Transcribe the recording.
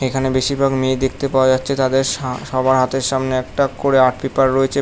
এখানে বেশিরভাগ মেয়ে দেখতে পাওয়া যাচ্ছে তাদের সা সবার হাতের সামনে একটা করে আর্ট পেপার রয়েছে।